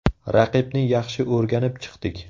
Raqibni yaxshi o‘rganib chiqdik.